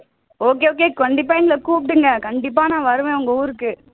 okay okay கண்டிப்பா எங்கள கூப்பிடுங்க கண்டிப்பா நான் வருவேன் உங்க ஊருக்கு